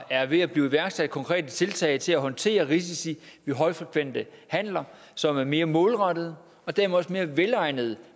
er ved at blive iværksat konkrete tiltag til at håndtere risici ved højfrekvente handler som er mere målrettede og dermed også mere velegnede